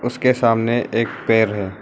उसके सामने एक पेड़ है।